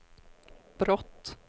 brott